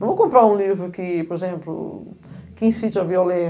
Não vou comprar um livro que, por exemplo, que incite a